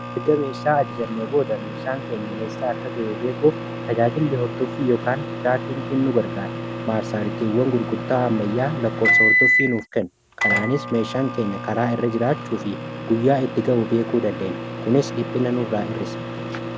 Erga meeshaa ajajannee booda meeshaan keenya eessaa akka ga'e beekuuf tajaajillii hordoffii yokaan tiraakiinkiin nu gargara. Maarsaaritiiwwan gurgurtaa ammayyaa lakkoofsa hordoffii nuuf kennu kanaanis meeshaan keenya karaa irra jiraachuu fi guyyaa itti ga'u beekuu dandeenya kunis dhiphinanurraa hir'isaa.